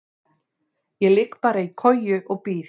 Ég ligg bara í koju og bíð.